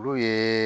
Olu ye